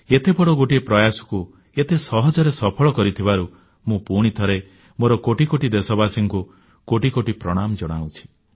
ଏତେବଡ଼ ଗୋଟିଏ ପ୍ରୟାସକୁ ଏତେ ସହଜରେ ସଫଳ କରିଥିବାରୁ ମୁଁ ପୁଣିଥରେ ମୋର କୋଟି କୋଟି ଦେଶବାସୀଙ୍କୁ କୋଟି କୋଟି ପ୍ରଣାମ ଜଣାଉଛି